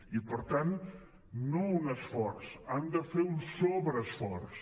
i per tant no un esforç han de fer un sobreesforç